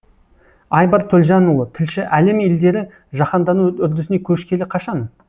айбар төлжанұлы тілші әлем елдері жаһандану үрдісіне көшкелі қашан